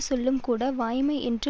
சொல்லும்கூட வாய்மை என்று